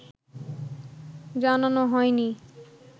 জানানো হয়নি